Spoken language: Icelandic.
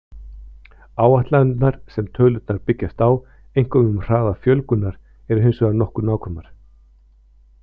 Áætlanirnar sem tölurnar byggjast á, einkum um hraða fjölgunar, eru hins vegar nokkuð nákvæmar.